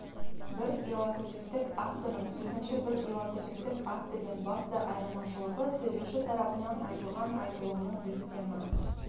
бір иллокутивтік актінің екінші бір иллокутивтік актіден басты айырмашылығы сөйлеуші тарапынан айтылған айтылымның діттемі